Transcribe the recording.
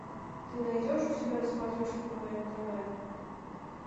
ты найдешь у себя на смотрешке квн тв